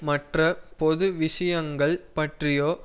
மற்ற பொது விஷயங்கள் பற்றியோ